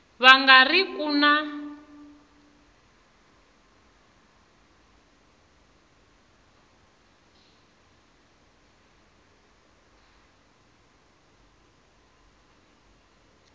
va nga ri ku na